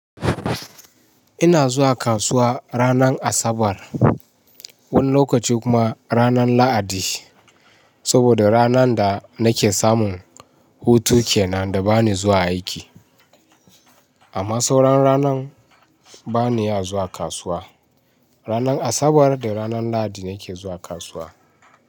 Ina zuwa kasuwa ranar Asabar, wani lokaci kuma ranar Lahadi. Saboda ranan da nake samun hutun ke nan da bani zuwa aiki. Amma sauran ranan bani iya zuwa kasuwa. Ranar Asabar da ranar Lahadi nake zuwa kasuwa.